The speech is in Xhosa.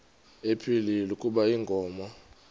ephilile kuba inkomo